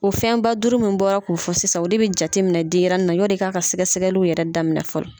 O fɛnba duuru mun bɔra k'u fɔ sisan ,o de be jateminɛ denyɛrɛnin na ɲɔni i ka ka sɛgɛsɛgɛliw yɛrɛ daminɛ fɔlɔ.